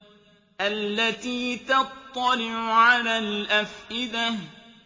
الَّتِي تَطَّلِعُ عَلَى الْأَفْئِدَةِ